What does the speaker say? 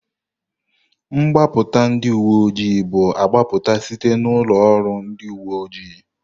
Mgbapụta ndị uwe ojii bu agbapụta site n'ụlọ oru ndị uwe ojii.